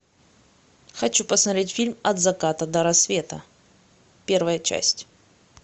хочу посмотреть фильм от заката до рассвета первая часть